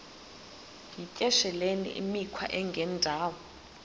yityesheleni imikhwa engendawo